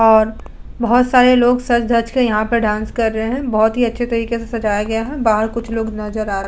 और बोहोत सारे लोग सज धज कर यहां पर डांस कर रहे हैं। बोहोत ही अच्छे तरीके से सजाया गया है। बाहर कुछ लोग नजर आ --